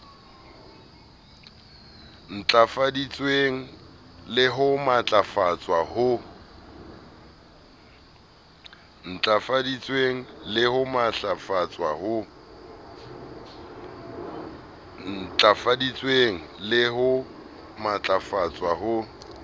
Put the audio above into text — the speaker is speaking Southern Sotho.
ntlafaditsweng le ho matlafatswa ho